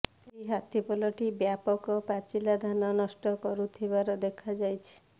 ଏହି ହାତୀ ପଲଟି ବ୍ୟାପକ ପାଚିଲା ଧାନ ନଷ୍ଟ କରୁ ଥିବାର ଦେଖା ଯାଇଛି